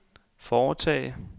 foretage